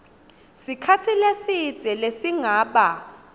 sikhatsi lesidze lesingaba